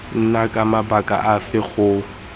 nna ka mabaka afe go